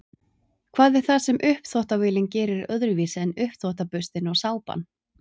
hvað er það sem uppþvottavélin gerir öðruvísi en uppþvottaburstinn og sápan